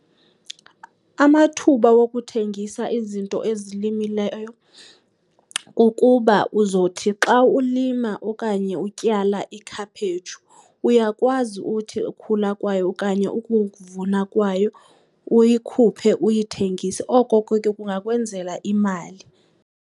Amathuba wokuthengisa izinto ezilimileyo kukuba uzothi xa ulima okanye utyala ikhaphetshu uyakwazi uthi ukhula kwayo okanye ukuvuna kwayo uyikhuphe uyithengise. Oko ke kungakwenzela imali.